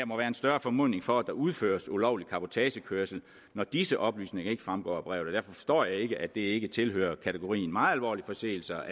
må være en større formodning for at der udføres ulovlig cabotagekørsel når disse oplysninger ikke fremgår af brevet derfor forstår jeg ikke at det ikke tilhører kategorien meget alvorlige forseelser